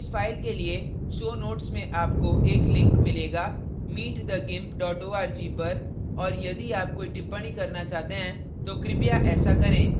इस फाइल के लिए show notes में आपको एक link मिलेगा meetthegimp @org पर और यदि आप कोई टिप्पणी करना चाहते हैं तो कृपया ऐसा करें